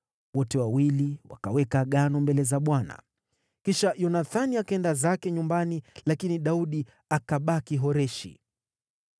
Wote wawili wakaweka agano mbele za Bwana . Kisha Yonathani akaenda zake nyumbani, lakini Daudi akabaki Horeshi.